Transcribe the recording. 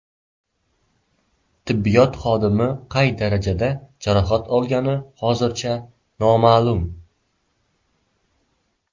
Tibbiyot xodimi qay darajada jarohat olgani hozircha noma’lum.